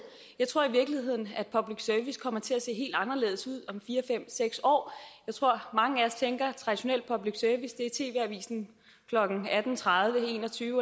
jeg tror i virkeligheden at public service kommer til at se helt anderledes ud om fire fem seks år jeg tror at mange af os tænker at traditionel public service er tv avisen klokken atten tredive en og tyve